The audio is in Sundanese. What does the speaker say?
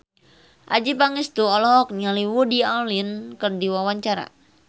Adjie Pangestu olohok ningali Woody Allen keur diwawancara